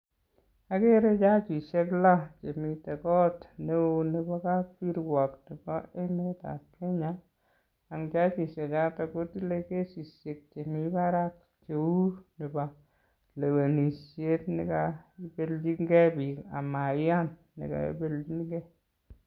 Akere jajishek lo chemite kot neo nepo kapkirwok nepo emetap Kenya ang jajishechoto kotile kesishek chemi barak cheu nepo lewenishet nekaipelchinkei biik amaiyan nekaipelchinkei.